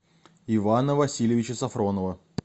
ивана васильевича сафронова